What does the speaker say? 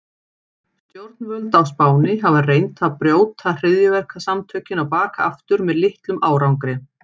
Stjórnvöld á Spáni hafa reynt að brjóta hryðjuverkasamtökin á bak aftur með litlum árangri.